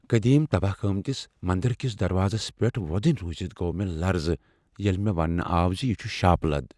قدیم تباہ گٲمتِس مندر كِس دروازس پیٹھ وۄدنیہ روُزِتھ گو مے٘ لرزٕ ییٚلہ مےٚ ونٛنہٕ آو ز یہ چھ ٗ شاپہٕ لد ۔